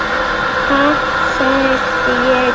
Ha, sagði ég.